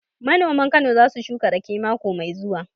Manoman Kano za su shuka raƙe mako mai zuwa